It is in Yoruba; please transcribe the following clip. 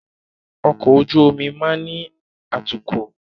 Ọkọ̀ ojú omi máa ni atukọ̀